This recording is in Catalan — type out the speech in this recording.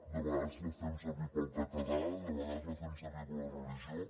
de vegades la fem servir pel català de vegades la fem servir per la religió